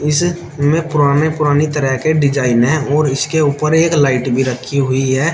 इस में पुराने पुराने तरह के डिज़ाइन है और इसके ऊपर एक लाइट भी रखी हुई है।